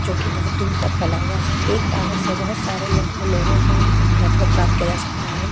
जोकि बहुत दूर तक फैला हुआ है एक टावर से बहुत सारे लोगो को लोग को नेटवर्क प्राप्त किया जा सकता है।